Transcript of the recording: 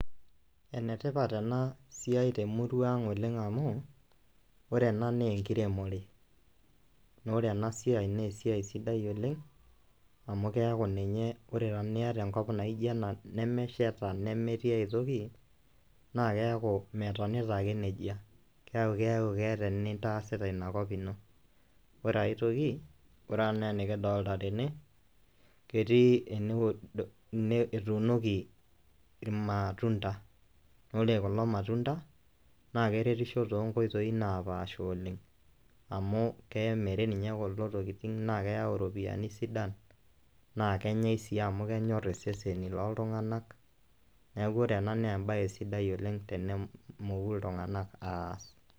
Enetipat enasiai temurua ang oleng amu, ore ena nenkiremore. Nore enasiai nesiai sidai oleng, amu keeku ninye ore eton niata enkop naija ena nemesheta nemetii aitoki, naa keeku metonita ake nejia. Keeku keeta enintaasita inakop ino. Ore aitoki, ore enaa enikidolta tene, ketii etuunoki irmatunda. Ore kulo matunda, naa keretisho tonkoitoii napaasha oleng. Amu emiri ninye kulo tokiting na keyau iropiyiani sidan, na kenyai si amu kenyor iseseni loltung'anak, neeku ore ena nebae sidai oleng tenemoku iltung'anak aas.